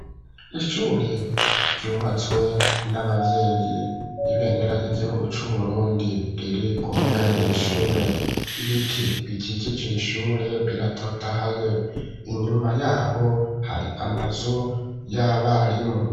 Ishure ryubatswe n’abavyeyi ibendera ry'igihugu c'uburundi riri ku mbuga yiri shure ibiti bikikije iri shure biratotahaye inyuma yaho hari amazu y'abarimu.